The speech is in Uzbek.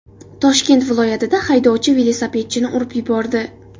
Toshkent viloyatida haydovchi velosipedchini urib yubordi.